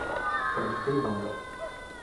продиктуй номер